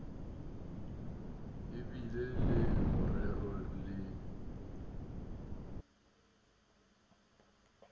a bile le morero le